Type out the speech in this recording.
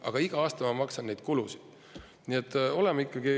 Aga igal aastal ma maksan neid kulusid.